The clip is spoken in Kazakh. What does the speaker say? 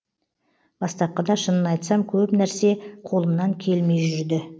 бастапқыда шынын айтсам көп нәрсе қолымнан келмей жүрді